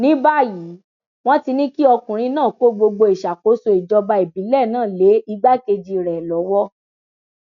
ní báyìí wọn ti ní kí ọkùnrin náà kó gbogbo ìṣàkóso ìjọba ìbílẹ náà lé igbákejì rẹ lọwọ